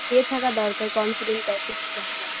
ইয়ে থাকা দরকার confident type -এর কিছু থাকা দরকার